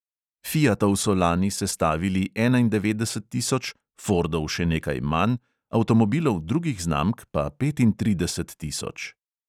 Fiatov so lani sestavili enaindevetdeset tisoč, fordov še nekaj manj, avtomobilov drugih znamk pa petintrideset tisoč.